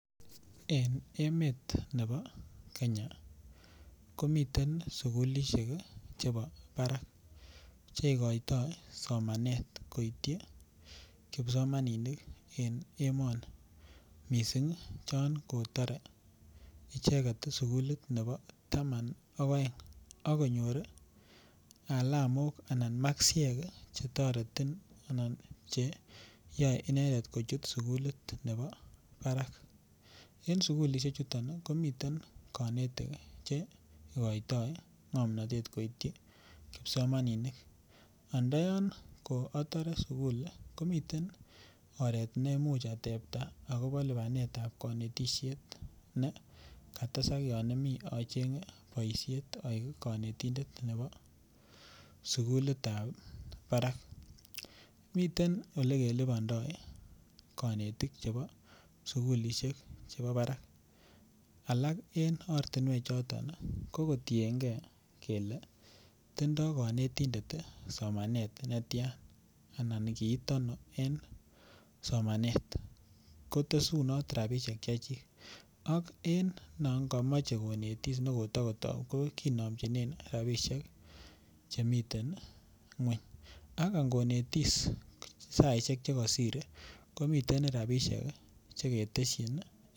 En emet nebo Kenya komiten sukullishek chebo barak chekoitoi somanet koityi kipsomaninik en emoni mising' chon kotore icheket sukulit nebo taman ak oeng ak konyor alamok anan makisiek chetoreti anan cheyoe icheket kochut sukulit nebo barak en sukulishe chuton komiten konetik cheikoitoi ngomnotet koityi kipsomaninik, ndoyon ko atore sukul komiten oreet neimuch atebta akobo lipanetab konetishet ne katesak yon omi ochenge boishet oik konetindet nebo sukulitab barak, miten olekelibondoi konetik chebo sukulishek chebo barak, alak en ortinwek choton ko kotienge kelee tindo konetindet somanet netian anan kiit ano en somanet kotesunot rabishek chechik ak en non komoje konetis ne kotokotou ko kinomjinen rabishek chemiten ngweny ak ingonetis saishek chekosir komiten rabishek cheketeshin.